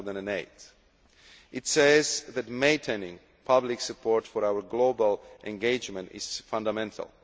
2008. It says that Maintaining public support for our global engagement is fundamental.